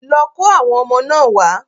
Lọ kó àwọn ọmọ náà wá.